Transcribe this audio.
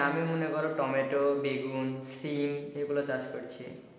আমি মনে করো টমেটো, বেগুন, সিম এইগুলা চাষ করছি।